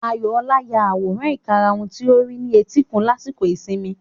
Ayọ̀ọlá ya àwòrán ìkarahun tí ó rí ní etíkun lásìkò ìsinmi.